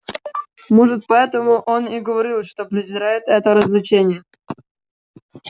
может поэтому он и говорил что презирает это развлечение